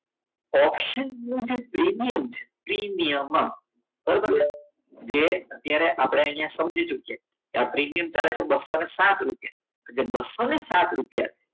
ઓપ્શનનું જે પ્રીમિયમ છે પ્રીમિયમ બરાબર છે જે અત્યારે આપણને અહીંયા સમજીશું કે આ પ્રીમિયમ બસો સાત રૂપિયા જો બસો સાત રૂપિયા